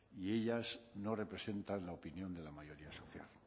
y ellas no representan la opinión de la mayoría social